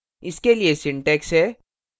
इसके लिए syntax है: